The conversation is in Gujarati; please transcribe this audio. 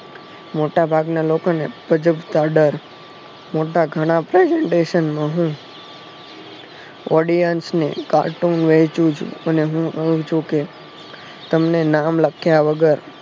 મોટા ભાગના લોકો ને ગજ્બકા ડર મોટા ઘણા presentation નહી audience ને cartoon વેચી અને હું છુ કે તમને નામ લખ્યા વગર